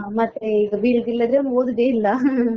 ಹಾ ಹಾ ಮತ್ತೆ ಈಗ ಬೀಳುದಿಲ್ಲಾದ್ರೆ ಅವ್ನು ಓದುದೇ ಇಲ್ಲಾ